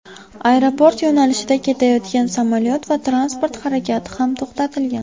Aeroport yo‘nalishida ketayotgan samolyot va transport harakati ham to‘xtatilgan.